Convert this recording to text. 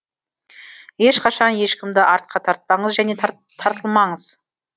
ешқашан ешкімді артқа тартпаңыз және тартылмаңыз